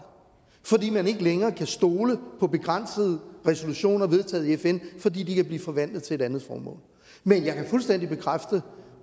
fordi man ikke længere kan stole på begrænsede resolutioner vedtaget i fn fordi de kan blive forvandlet til et andet formål men jeg kan fuldstændig bekræfte